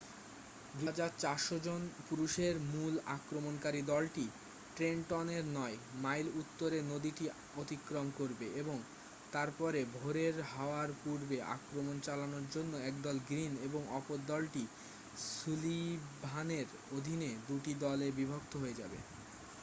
2,400 জন পুরুষের মূল আক্রমণকারী দলটি ট্রেনটনের নয় মাইল উত্তরে নদীটি অতিক্রম করবে এবং তারপরে ভোরের হওয়ার পূর্বে আক্রমণ চালানোর জন্য একদল গ্রীন এবং অপরদলটি সুলিভানের অধীনে দুটি দলে বিভক্ত হয়ে যাবে